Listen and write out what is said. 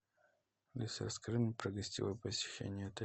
алиса расскажи мне про гостевое посещение отеля